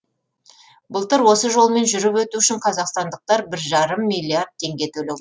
былтыр осы жолмен жүріп өту үшін қазақстандықтар бір жарым миллиард теңге төле